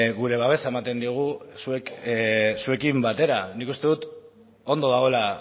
gure babesa ematen diogu zuekin batera nik uste dut ondo dagoela